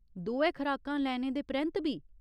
दोऐ खराकां लैने दे परैंत्त बी ?